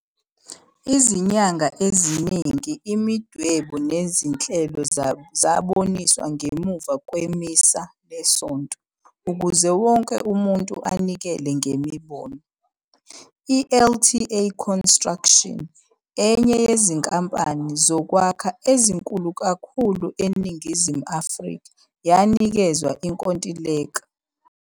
Izinyanga eziningi imidwebo nezinhlelo zaboniswa ngemuva kweMisa leSonto ukuze wonke umuntu anikele ngemibono. I-LTA Construction, enye yezinkampani zokwakha ezinkulu kakhulu eNingizimu Afrika yanikezwa inkontileka.